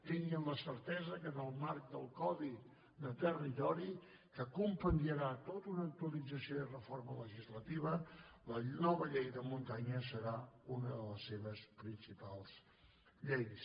tinguin la certesa que en el marc del codi de territori que compendiarà tota una actualització i reforma legislativa la nova llei de muntanya serà una de les seves principals lleis